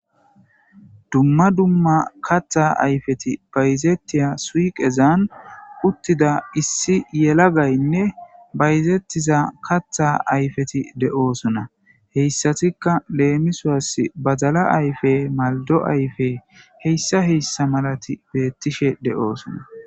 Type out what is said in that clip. dumma dumma katha ayfeti bayzettiya suiqezan uttida issi yela gaynne bayzettiza katha ayfeti de7oosona heyssatikka leemisoas bazala ayfe maldo ayfe heyssa heyssa malati beettishe de7oosona